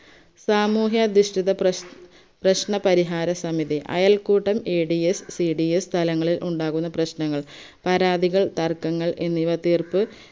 സാമൂഹ്യദിഷ്ടിത പ്രശ് പ്രശ്നപരിഹാര സമിതി അയൽക്കൂട്ടം adscds തലങ്ങളിൽ ഉണ്ടാവുന്ന പ്രശ്നങ്ങൾ പരാതികൾ തർക്കങ്ങൾ എന്നിവ തീർപ്പ്